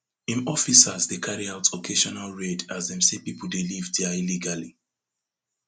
im officers dey carry out occasional raid as dem say pipo dey live dia illegally